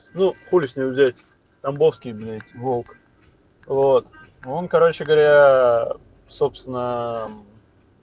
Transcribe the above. ну хули с него взять тамбовский блять волк вот он короче говоря собственно